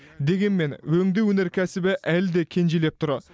дегенмен өңдеу өнеркәсібі әлі де кенжелеп тұр